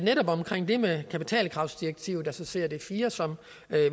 vi er med kapitalkravsdirektivet altså crd iv som